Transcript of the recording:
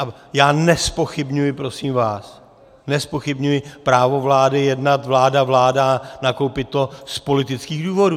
A já nezpochybňuji, prosím vás, nezpochybňuji právo vlády jednat vláda - vláda, nakoupit to z politických důvodů.